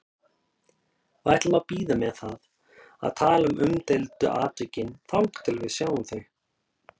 Við ætlum að bíða með að tala um umdeildu atvikin þangað til við sjáum þau.